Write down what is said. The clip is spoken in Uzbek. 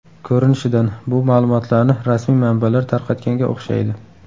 Ko‘rinishidan, bu ma’lumotlarni rasmiy manbalar tarqatganga o‘xshaydi.